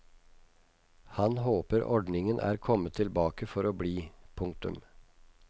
Han håper ordningen er kommet tilbake for å bli. punktum